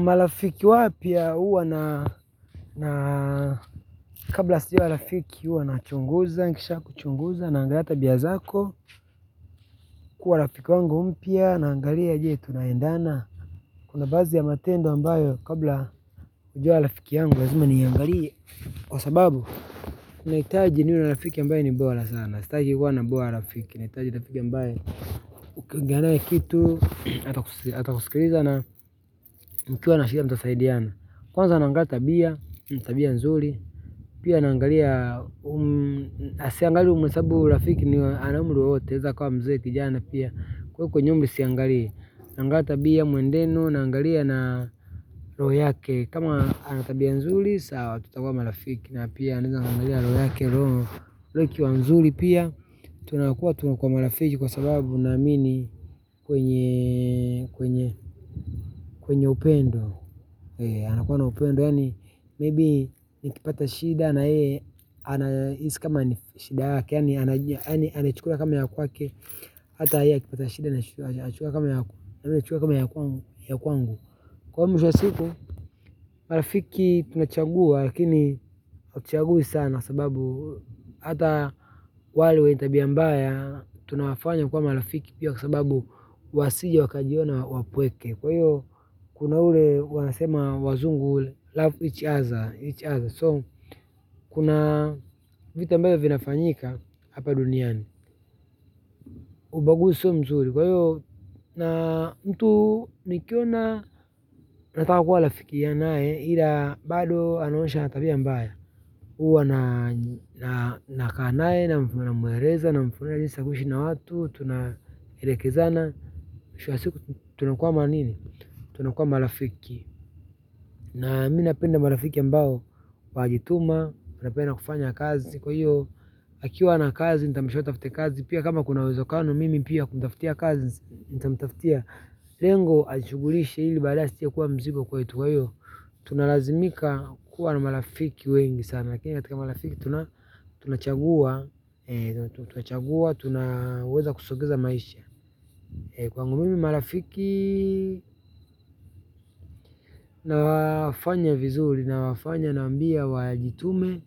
Marafiki wapya huwa na, kabla sio rafiki huwa na chunguza, nikishakuchunguza, naangalia tabia zako kuwa rafiki wangu mpya naangalia je tunaendana? Kuna baadhi ya matendo ambayo kabla kujua rafiki yangu lazima niangalie kwa sababu nahitaji niwe na rafiki ambaye ni bora sana, sitaki kuwa nahitaji rafiki ambaye ukiongea naye kitu atakusikiliza na mkiwa na shida mtasaidiana. Kwanza naangalia tabia, tabia nzuri, pia naangalia siangalii umehasabu rafiki wa ana umri wowote anaeza kwa mzee kijana pia. Kwaiko mimi siangali naangalia tabia muendenu naangalia na roho yake kama ana tabia nzuri sawa tutakuwa marafiki na pia naeza angalia roho yake roho ikiwa nzuri pia tunakuwa tunakuwa marafiki kwa sababu naamini kwenye upendo anakuwa na upendo yaani maybe nikipata shida na yeye anahisi kama ni shida yake yaani anachukulia kama ya kwake hata yeye akipata shida nachukua kama nachukua kama ya kwangu. Kwaivo mwisho wa siku marafiki tunachagua lakini hatuchagui sana sababu hata wale wenye tabia mbaya. Tunawafanya kuwa marafiki pia kwa sababu wasije wakajiona wapweke kwa hiyo kuna ule wanasema wazungu Love each other. So, kuna vitu ambavyo vinafanyika hapa duniani ubaguzi sio mzuri kwa hiyo, na mtu nikiona nataka kuwa rafiki ya naye ila bado anaonyesha ana tabia mbaya huwa na nakaa naye, namueleza, namfunza jinsi ya kuishi na watu, tunaelekezana mwisho wa siku, tunakuwa manini tunakuwa marafiki na mimi napenda marafiki ambao wanajituma, wanapenda kufanya kazi kwa hiyo, akiwa hana kazi nitamsho atafte kazi, pia kama kuna uwezo kano mimi pia kumtaftia kazi nitamtaftia, lengo ajishugulishe ili baadaye asije kuwa mzigo kwetu kwa hiyo, tunalazimika kuwa na marafiki wengi sana lakini katika marafiki tunachagua tunachagua tunaweza kusongesha maisha, eh kwangu mimi marafiki nawafanya vizuri nawafanya nawambia wajitume,